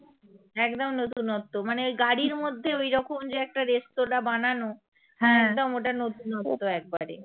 একদম নতুনত্ব মানে ওই গাড়ির মধ্যে ঐরকম যে একটা রেস্তোরাঁ বানানো একদম ওটা নতুনত্ব একবারে